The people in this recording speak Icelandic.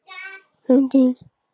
Marín, slökktu á niðurteljaranum.